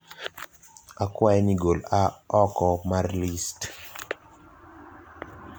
akwai ni gol "a" oko mar list.